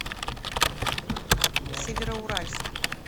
североуральск